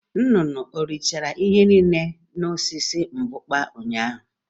Nnụnụ o richala ihe niile dị n'osisi mbukpa ụnyaahụ?